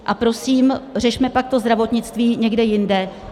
A prosím, řešme pak to zdravotnictví někde jinde.